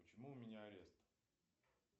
почему у меня арест